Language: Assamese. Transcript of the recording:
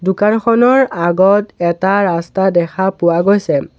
দোকানখনৰ আগত এটা ৰাস্তা দেখা পোৱা গৈছে।